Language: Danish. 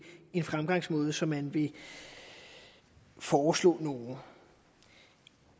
fremgangsmåde som man vil foreslå nogen